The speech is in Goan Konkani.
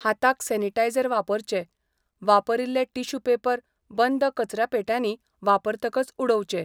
हाताक सॅनिटायझर वापरचे, वापरिल्ले टिश्यू पेपर बंद कचऱ्यापेट्यांनी वापरतकच उडोवचे.